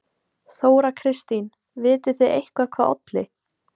Þóra Kristín: Vitið þið eitthvað hvað olli?